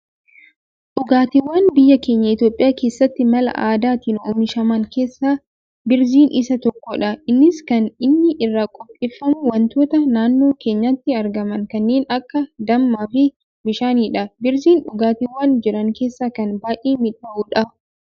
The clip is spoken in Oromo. Dhugaatiiwwaan biyyaa keenya Itoophiyaa keessatti mala aadaatin oomishaman keessaa 'birziin' isaa tokkodha innis kan inni irraa qopheeffamu wantoota naannoo keenyatti argaman kaneen akka damma fi bishaanidha. birziin dhugaatiiwwaan jiran keessa kan baayyee midhaawudha.